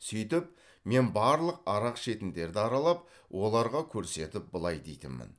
сөйтіп мен барлық арақ ішетіндерді аралап оларға көрсетіп былай дейтінмін